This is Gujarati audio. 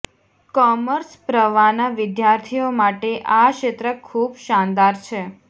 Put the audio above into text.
કોમર્સ પ્રવાહના વિદ્યાર્થીઓ માટે આ ક્ષેત્ર ખુબ શાનદાર છે